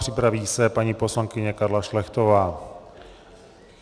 Připraví se paní poslankyně Karla Šlechtová.